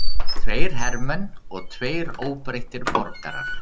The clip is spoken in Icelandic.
Tveir hermenn og tveir óbreyttir borgarar